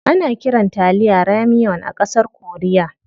Ana kiran taliya "ramyeon" a ƙasar korea.